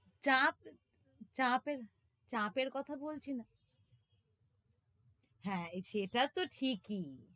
চাপ, চাপের, চাপের কথা বলছি না, হ্যাঁ, সেটা তো ঠিকই।